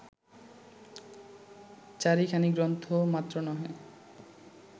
চারিখানি গ্রন্থ মাত্র নহে